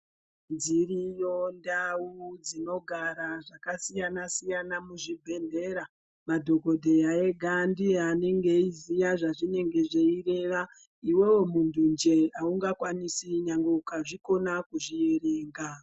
Dziriyo ndau dzinogara zvakasiyana-siyana muzvibhedhlera, madhokodheya ega ndiye anenge eyiziya zvazvinenge zveyireva ,iwewe muntunje awungakwanisi nyangwe ukazvikona kuzvierenga.